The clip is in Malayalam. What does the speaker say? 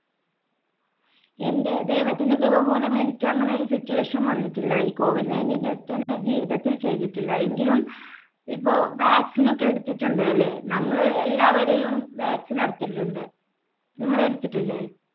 എൻടെ ദൈവത്തിൻടെ കൃപ മൂലം എനിക്ക് അങ്ങ് ഒരു situation വന്നിട്ടില്ല. ഈ COVID nineteen test എന്‍ടെ ജീവിതത്തിൽ ചെയ്തിട്ടില്ല. എങ്കിലും ഇപ്പോ vaccine ഒക്കെ എടുത്തിട്ടുണ്ട്. അല്ലേ? നമ്മളെ എല്ലാവരെയും vaccine അടിച്ചിട്ടുണ്ട്. നിങ്ങൾ എടുത്തിട്ടില്ലേ?